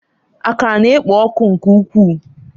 Akara na-ekpo ọkụ nke ukwuu.